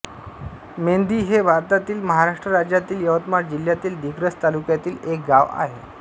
मेंधी हे भारतातील महाराष्ट्र राज्यातील यवतमाळ जिल्ह्यातील दिग्रस तालुक्यातील एक गाव आहे